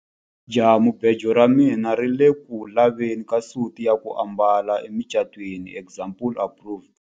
Jahamubejo ra mina ri ku le ku laveni ka suti ya ku ambala emucatwini example improved.